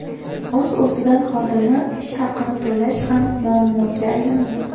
O‘z-o‘zidan, xodimlar ish haqini to‘lash ham muammoga aylandi.